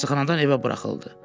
Xəstəxanadan evə buraxıldı.